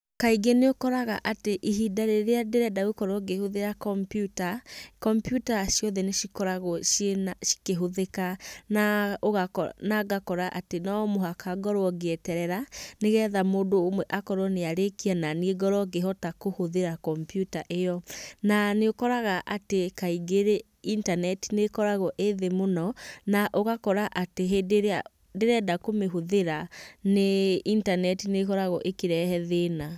Kaingĩ nĩũkoraga atĩ ihinda rĩrĩa ndĩrenda gũkorwo ngĩhũthĩra kompiyuta, kompiyuta ciothe nĩcikoragwo cikĩhũthĩka, na ngakora atĩ no mũhaka ngakorwo ngĩeterera nĩgetha mũndũ ũmwe akorwo nĩarĩkia, naniĩ ngorwo ngĩhota gũtũmĩra kompiyuta ĩyo. Na nĩ ũkoraga atĩ kaingĩ rĩ internet nĩkoragwo ĩthĩ mũno na ũgakora atĩ hĩndĩ ĩrĩa ndĩrenda kũmĩhũthĩra internet nĩkoragwo ĩkĩrehe thĩna.